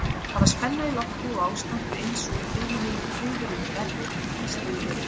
Það var spenna í lofti og ástandið einsog í heiminum, friðurinn verri en stríðið.